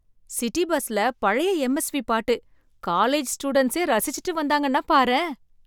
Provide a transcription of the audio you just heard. City பஸ்ல பழைய எம்எஸ்வி பாட்டு, காலேஜ் ஸ்டூடண்ட்ஸே ரசிச்சிட்டு வந்தாங்கன்னா பாரேன்!